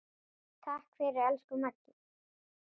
Takk fyrir, elsku Maggi.